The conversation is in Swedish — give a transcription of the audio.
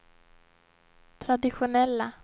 traditionella